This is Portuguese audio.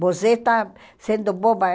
Você está sendo boba.